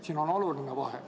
Siin on oluline vahe.